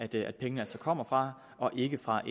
dér at pengene kommer fra og ikke fra